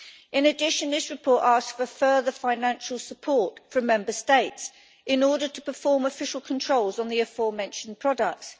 In addition, the report asks for further financial support from Member States in order to perform official controls on the aforementioned products.